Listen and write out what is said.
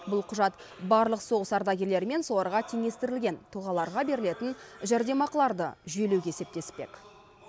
бұл құжат барлық соғыс ардагерлері мен соларға теңестірілген тұлғаларға берілетін жәрдемақыларды жүйелеуге септеспек